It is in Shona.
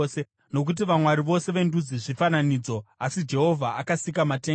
Nokuti vamwari vose vendudzi zvifananidzo, asi Jehovha akasika matenga.